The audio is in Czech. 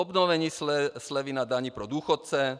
Obnovení slevy na dani pro důchodce.